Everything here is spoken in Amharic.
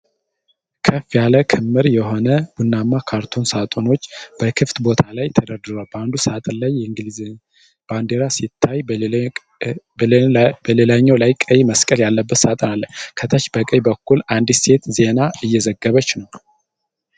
ከፍ ያለ ክምር የሆነ ቡናማ ካርቶን ሳጥኖች በክፍት ቦታ ላይ ተደርድረዋል። በአንዱ ሳጥን ላይ የእንግሊዝ ባንዲራ ሲታይ፣ በሌላኛው ላይ ቀይ መስቀል ያለበት ሳጥን አለ። ከታች በቀኝ በኩል አንዲት ሴት ዜና እየዘገበች ነው።